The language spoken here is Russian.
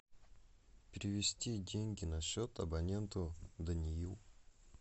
перевести деньги на счет абоненту даниил